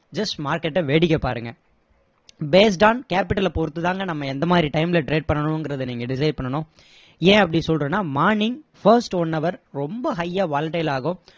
just market அ வேடிக்கை பாருங்க based on capital அ பொறுத்துதாங்க நாம எந்த மாதிரி time ல trade பண்ணனுங்கிறத நீங்க decide பண்ணணும் ஏன் அப்படி சொல்றேன்னா morning first one hour ரொம்ப high யா volatile ஆகும்